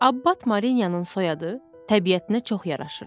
Abbat Marinyanın soyadı təbiətinə çox yaraşırdı.